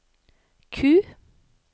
Q